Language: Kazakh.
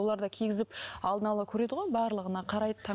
олар да кигізіп алдын ала көреді ғой барлығына қарайды